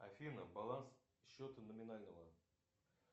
афина баланс счета номинального